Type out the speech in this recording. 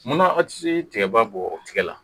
Munna aw tɛ se tigaba bɔ o tɛgɛ la